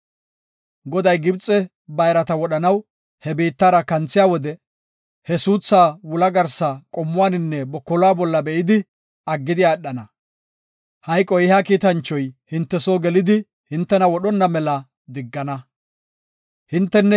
Goday Gibxe bayrata wodhanaw he biittara kanthiya wode, he suuthaa wula garsa, qomuwaninne bokoluwa bolla be7idi aggidi aadhana. Hayqo ehiya kiitanchoy hinte soo gelidi hintena wodhonna mela diggana. Hisophe geetetiya Mithi